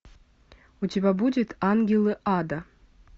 у тебя будет ангелы ада